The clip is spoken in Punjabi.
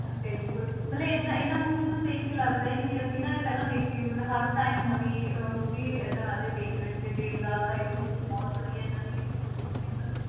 ਬਿਲਕੁਲ ਮਤਲਬ ਏਦਾਂ ਇਹਨਾਂ movies ਨੂੰ ਦੇਖ ਕੇ ਲੱਗਦਾ ਹੀ ਨੀ ਵੀ ਅਸੀਂ ਨਾ ਇਹ ਪਹਿਲਾਂ ਦੇਖੀ ਹੋਈ ਮਤਲਬ ਹਰ time ਨਵੀਂ ਅਹ movie ਏਦਾਂ ਲੱਗਦਾ ਵੀ ਦੇਖ ਰਹੇ ਹਾਂ, ਜਿਵੇਂ ਦੇਵਦਾਸ ਆਈ ਸੀ movie ਬਹੁਤ ਵਧੀਆ ਇਹਨਾਂ ਦੀ ਹੋਈ ਸੀ famous